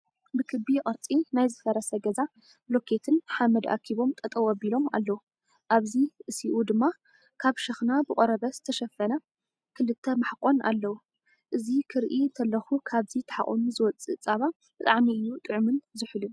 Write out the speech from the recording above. ብክቢ ቅርፂ ናይ ዝፈረሰ ገዛ ብሎኬትን ሓመድ ኣኪቦም ጠጠው ኣቢሎሞ ኣለው። ኣብዚ እሲኡ ድማ ካብ ሽክና ብቆርበት ዝተሸፈነ ክልተ ማሕቆን ኣለው። እዚ ክሪኢ እንተለኩ ካብዚ ተሓቁኑ ዝውፀ ፀባ ብጣዕሚ እዩ ጥዑምን ዝሑልን።